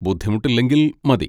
ബുദ്ധിമുട്ടില്ലെങ്കിൽ മതി.